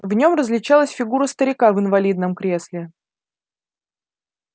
в нём различалась фигура старика в инвалидном кресле